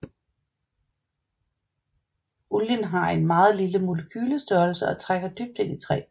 Olien har en meget lille molekylestørrelse og trænger dybt ind i træ